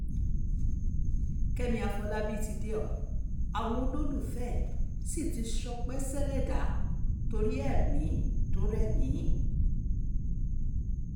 kẹ́mi àfọlábí ti dé ọ àwọn olólùfẹ́ ẹ sì ti ń ṣọpẹ́ sẹ̀lẹ́dà torí ẹ̀mí tó rẹ́mìí